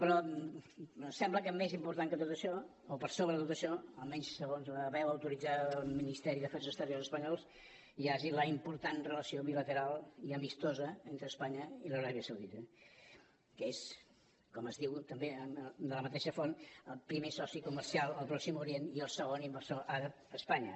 però sembla que més important que tot això o per sobre de tot això almenys segons la veu autoritzada del ministeri d’afers exteriors espanyol hi ha la important relació bilateral i amistosa entre espanya i l’aràbia saudita que és com es diu també de la mateixa font el primer soci comercial al pròxim orient i el segon inversor àrab a espanya